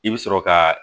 I bɛ sɔrɔ ka